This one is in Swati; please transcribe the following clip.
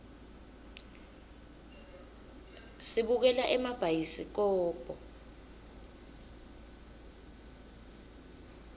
sibukela emabhayisikobho